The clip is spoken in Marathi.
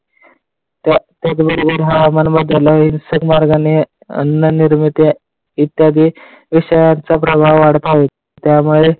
त्याबरोबर हवामान बदल होईल अन्न नवनिर्मित निर्मिती इत्यादी विषयांचा प्रभाव वाढत आहे.